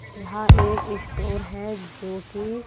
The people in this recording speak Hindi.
यहां एक स्टोर है जो की--